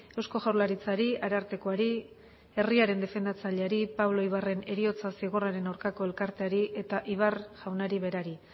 eusko jaurlaritzari arartekoari herriaren defendatzaileari pablo ibarren heriotza zigorraren aurkako elkarteari eta ibar jaunari berari